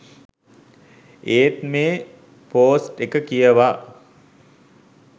ඒත් මෙ පොස්ට් එක කියවා